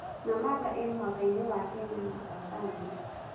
Namanga ĩĩ mũhaka-inĩ wa Kenya na Tanzania.